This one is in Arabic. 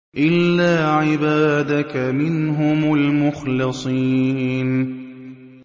إِلَّا عِبَادَكَ مِنْهُمُ الْمُخْلَصِينَ